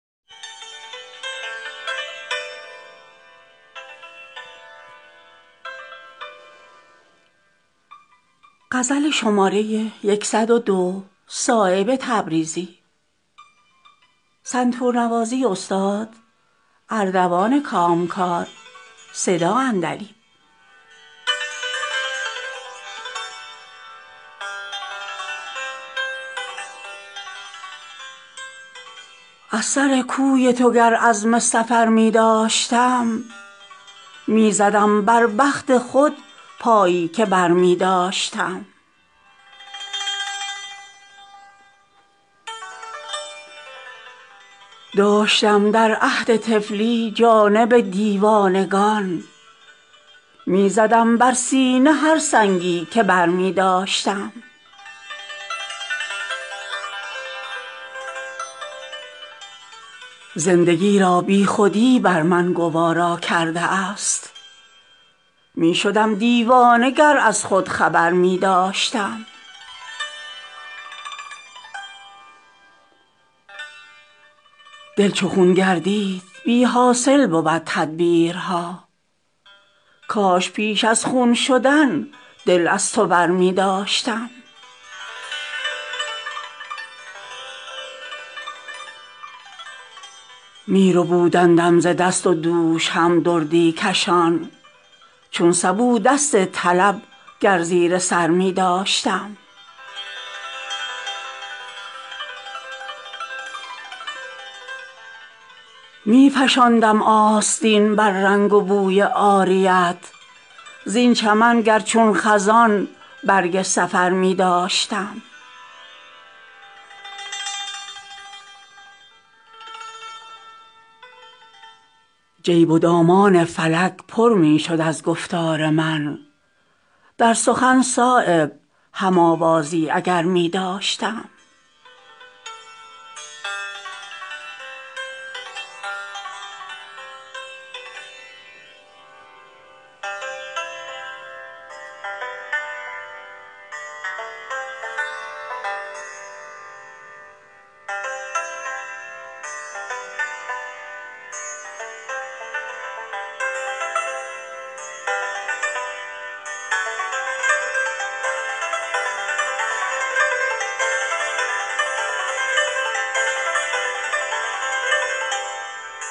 دل صد چاک اگر دست ز تن برمی داشت راه چون شانه در آن زلف معنبر می داشت آن که گریان به سر خاک من آمد چون شمع کاش در زندگی از خاک مرا برمی داشت دل بی حوصله سرشار ز می می گردید چون سبو دست طلب گر به ته سر می داشت می توانستم ازان لب دهنی شیرین کرد خال اگر چشم ازان کنج دهن برمی داشت گر به همیان زر افزوده شدی طول حیات زندگی بیش ز درویش توانگر می داشت اگر آیینه نمی بود ز روشن گهران که چراغی به سر خاک سکندر می داشت صورتی داشت فکندن به زمین حرف مرا اگر آن آینه رو طوطی دیگر می داشت نتوان کند دل از صورت شیرین ور نه کوه را ناله فرهاد ز جا برمی داشت همه را در سر و کار تو به رغبت می کرد صایب دلشده گر صد دل دیگر می داشت